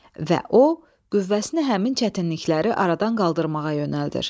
Və o, qüvvəsini həmin çətinlikləri aradan qaldırmağa yönəldir.